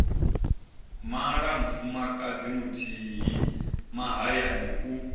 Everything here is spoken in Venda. mala mufumakadzi muthihi mahayani u